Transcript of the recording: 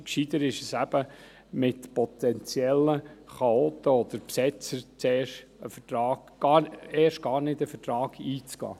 Intelligenter ist es eben, mit potenziellen Chaoten oder Besetzern gar nicht erst einen Vertrag einzugehen.